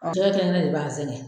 Jigɛ kɛnɛ kɛnɛ de b'an zɛgɛn.